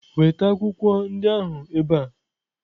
Weta akwụkwọ ndị ahụ ebe a!